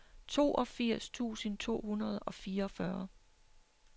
toogfirs tusind to hundrede og fireogfyrre